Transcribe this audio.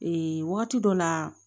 Ee waati dɔ la